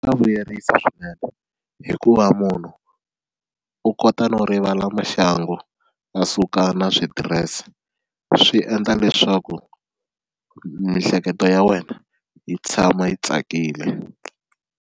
Swa vuyerisa swinene hikuva munhu u kota no rivala maxangu a suka na switirese swi endla leswaku miehleketo ya wena yi tshama yi tsakile.